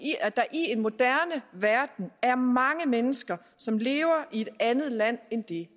en moderne verden er mange mennesker som lever i et andet land end det